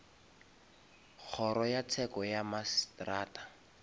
kgoro ya tsheko ya mmasetrata